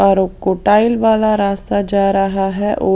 और कोटाइल वाला रास्ता जा रहा है।